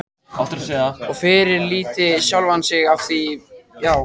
Og fyrirlíti sjálfan sig afþvíað hann getur engu breytt.